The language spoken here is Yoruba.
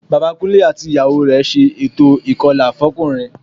Bàbá Kúnlé àti ìyàwó rẹ̀ ṣe ètò ìkọlà fọ́kùnrin